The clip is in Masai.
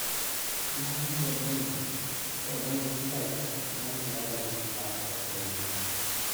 Kenare neitodolu lopeny esiai esidano tialo laisiyiak lenye.